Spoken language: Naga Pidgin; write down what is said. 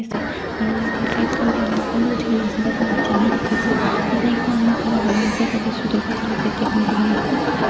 aro yate side khan te manu khan bi uthi kena ase tai khan laga theng hi dikhi ase yate ekta ama khara kuri kena ase tai toh sweater para tai laga pat te bhandi kena ase.